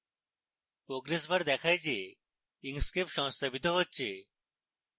progress bar দেখায় the inkscape সংস্থাপিত হচ্ছে